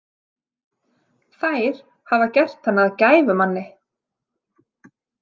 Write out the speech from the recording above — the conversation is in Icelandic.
Þær hafa gert hann að gæfumanni.